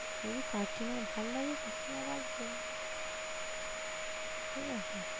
সে যদি কাকিমার ভাল লাগে কাকিমা রাখবে ঠিক আছে?